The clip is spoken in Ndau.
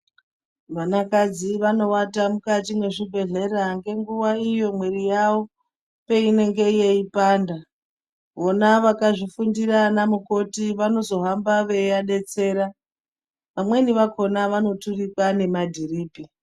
Vanakadzi vanowata mukati mwezvibhehlera ngenguwa iyo mwiri yavo unenge yeipanda vona vakazvifundira vana mukoti vanozohamba veidetsera vamweni vakhona vanoturikwa nemadhiripi.